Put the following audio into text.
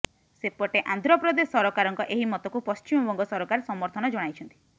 ସେପଟେ ଆନ୍ଧ୍ରପ୍ରଦେଶ ସରକାରଙ୍କ ଏହି ମତକୁ ପଶ୍ଚିମବଙ୍ଗ ସରକାର ସମର୍ଥନ ଜଣାଇଛନ୍ତି